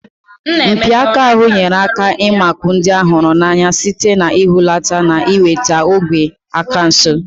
Mpi aka ahụ nyere aka ịmakụ ndị a hụrụ n'anya site n'ihulata na iweta ogwe aka nso.